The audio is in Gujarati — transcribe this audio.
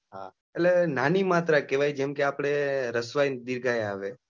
એટલે નાની માત્ર કેવાય જેમ કે રીસ્વાઈ આવે દીર્ગાઈ આવે.